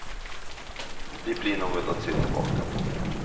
Det blir något att se tillbaka på.